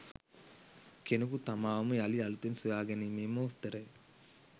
කෙනෙකු තමාවම යළි අලුතින් සොයා ගැනීමේ මෝස්තරය